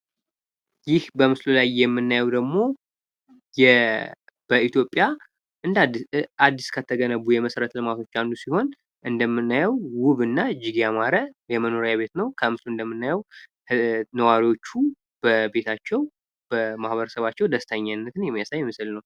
ይህ በምስሉ ላይ የምናየው ደግሞ የ በኢትዮጵያ አዲስ ከተገነቡ የመሰረት ልማቶች መካከል ሲሆን እንደምናየው ዉብ እና እጅግ ያማረ የመኖሪያ ቤት ነው ከምስሉ እንደምናየው ነዋሪዎቹ በቤታቸው በማህበረሰባቸው ደስተኛነትን የሚያሳይ ምስል ነው